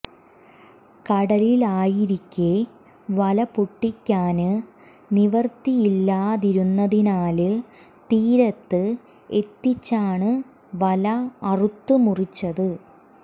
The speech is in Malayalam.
കടലിലായിരിക്കെ വല പൊട്ടിക്കാന് നിവൃത്തിയില്ലാതിരുന്നതിനാല് തീരത്ത് എത്തിച്ചാണ് വല അറുത്ത് മുറിച്ചത്